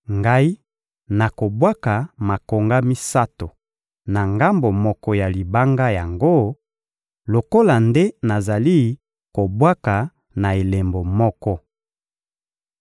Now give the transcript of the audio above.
Ngai nakobwaka makonga misato na ngambo moko ya libanga yango lokola nde nazali kobwaka na elembo moko.